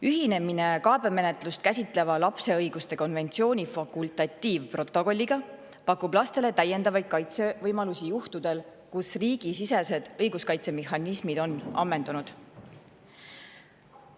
Ühinemine kaebemenetlust käsitleva lapse õiguste konventsiooni fakultatiivprotokolliga pakub lastele täiendavaid kaitsevõimalusi juhtudel, kus riigisisesed õiguskaitsemehhanismid on ammendunud.